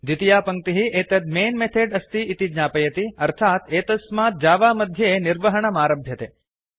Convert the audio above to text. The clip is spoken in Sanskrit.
द्वितीया पङ्क्तिः एतत् मैन् मेथोड अस्ति इति ज्ञापयति अर्थात् एतस्मात् जावा मध्ये निर्वहणमारभ्यते